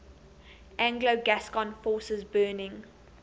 anglo gascon forces burning